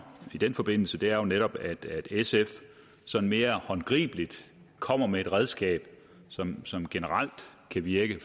i den forbindelse er jo netop at sf sådan mere håndgribeligt kommer med et redskab som som generelt kan virke